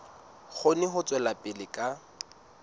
kgone ho tswela pele ka